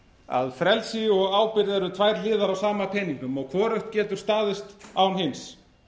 að frelsi og ábyrgð eru tvær hliðar á sama peningnum og hvorugt getur staðist án hins